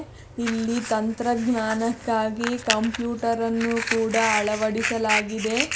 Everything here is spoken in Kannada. ಇಲ್ಲಿ ತಂತ್ರಜ್ಞಾನಕ್ಕಾಗಿ ಕಂಪ್ಯೂಟರ ಅನ್ನು ಕೂಡ ಅಳವಡಿಸಲಾಗಿದೆ.